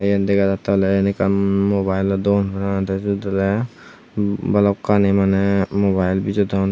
tey iyen dega jattey oley iyen ekkan mubayelo dogan parapang tey stit oley balukkani maneh mubayel bejodon.